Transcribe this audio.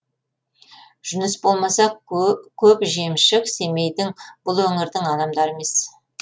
жүніс болмаса көп жемшік семейдің бұл өңірдің адамдары емес